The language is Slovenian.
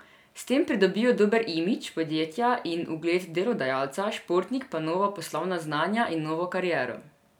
S tem pridobijo dober imidž podjetja in ugled delodajalca, športnik pa nova poslovna znanja in novo kariero.